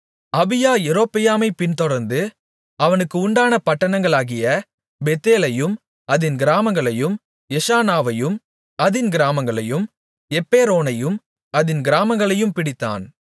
அபியா யெரொபெயாமைப் பின்தொடர்ந்து அவனுக்கு உண்டான பட்டணங்களாகிய பெத்தேலையும் அதின் கிராமங்களையும் எஷானாவையும் அதின் கிராமங்களையும் எப்பெரோனையும் அதின் கிராமங்களையும் பிடித்தான்